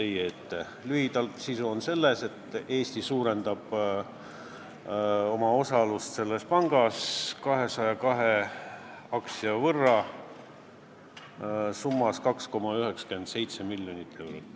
Eelnõu sisu on lühidalt selles, et Eesti suurendab oma osalust selles pangas 202 aktsia võrra, mille kogusumma on 2,97 miljonit eurot.